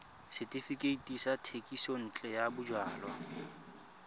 setefikeiti sa thekisontle ya bojalwa